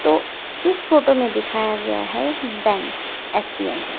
तो इस फोटो में दिखाया गया है बैंक एस-बी-आई का।